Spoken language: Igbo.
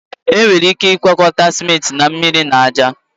Enwere ike ịgwakọta ciment na mmiri na ájá